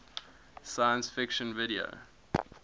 science fiction video